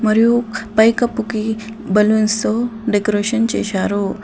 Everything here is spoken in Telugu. మరియు పైకప్పుకి బలూన్స్తో డెకరేషన్ చేశారు.